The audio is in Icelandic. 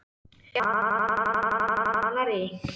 Fólkið að sóla sig á Kanarí.